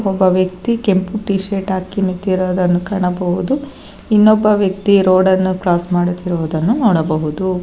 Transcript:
ಒಬ್ಬ ವ್ಯಕ್ತಿ ಕೆಂಪು ಟಿ ಶರ್ಟ್ ಹಾಕಿ ನಿತ್ತಿರೊದನ್ನು ಕಾಣಬಹುದು ಇನ್ನೊಬ್ಬ ವ್ಯಕ್ತಿ ರೋಡ್ ಅನ್ನು ಕ್ರಾಸ್ ಮಾಡುತ್ತಿರುವುದನ್ನು ನೋಡಬಹುದು.